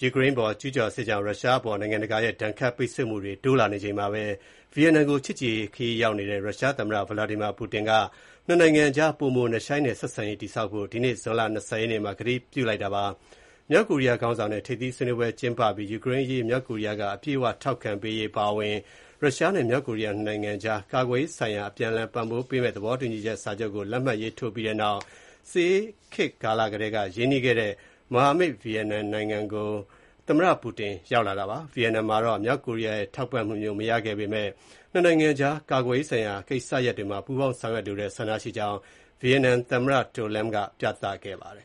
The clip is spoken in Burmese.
ယူကရိန်းပေါ် ကျူးကျော်စစ်ကြောင့် ရုရှားအပေါ် နိုင်ငံတကာရဲ့ ဒဏ်ခတ် ပိတ်ဆို့မှုတွေ တိုးလာနေချိန်မှာဘဲ ဗီယက်နမ်နိုင်ငံကို ချစ်ကြည်ရေးခရီးစဉ် ရောက်ရှိနေတဲ့ ရုရှားသမ္မတဗလာဒီမီယာပူတင်က နှစ်နိုင်ငံအကြား ပိုမို နက်ရှိုင်းတဲ့ ဆက်ဆံရေးတည်ဆောက်ဖို့ ဒီကနေ့ ဇွန်လ ၂၀ ရက်နေ့မှာ ကတိပြု ပြောဆိုလိုက်ပါတယ်။ မြောက်ကိုရီးယားခေါင်းဆောင်နဲ့ ထိပ်သီးစည်းဝေးပွဲ ကျင်းပပြီး ယူကရိန်းအရေး မြောက်ကိုရီးယားက အပြည့်အဝ ထောက်ခံပေးရေး အပါအဝင် ရုရှားနဲ့ မြောက်ကိုရီးယား ၂ နိုင်ငံကြား ကာကွယ်ရေးဆိုင်ရာ အပြန်အလှန် ပံ့ပိုးကူညီမယ့် သဘောတူစာချုပ်ကို လက်မှတ် ရေးထိုးပြီးတဲ့နောက် စစ်အေးခေတ်ကာလကတည်းက ရင်းနှီးခဲ့တဲ့မဟာမိတ် ဗီယက်နမ်နိုင်ငံကို သမ္မတပူတင်ရောက်လာတာပါ။ ဗီယက်နမ်မှာတော့ မြောက်ကိုရီးရဲ့ ထောက်ခံမှုမျိုး မရခဲ့ပေမယ့် နှစ်နိုင်ငံအကြား ကာကွယ်ရေးဆိုင်ရာ ကိစ္စရပ်တွေမှာ ပူးပေါင်း ဆောင်ရွက်လိုတဲ့ ဆန္ဒရှိကြောင်း ဗီယက်နမ်သမ္မတ To Lam ပြသခဲ့ပါတယ်